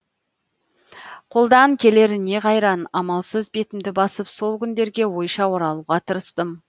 қолдан келер не қайран амалсыз бетімді басып сол күндерге ойша оралуға тырыстым